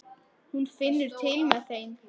Hún finnur til með þeim.